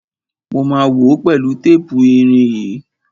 Mo ma wòó pẹ̀lú tépù irin yìí.